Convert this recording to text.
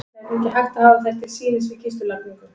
Það yrði ekki hægt að hafa þær til sýnis við kistulagningu.